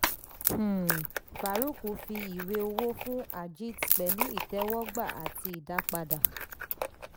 um farook fi ìwé owó fún ajit pẹ̀lú ìtẹ́wọ́gbà àti ìdápadà.